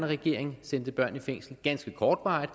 regering sendte børn i fængsel nemlig ganske kortvarigt